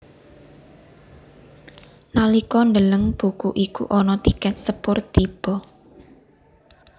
Nalika ndeleng buku iku ana tikèt sepur tiba